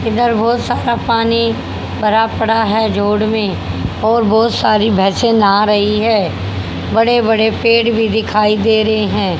इधर बहोत सारा पानी भरा पड़ा है जोड़ में और बोहोत सारी भैसे ना रही है बड़े बड़े पेड़ भी दिखाई दे रहे हैं।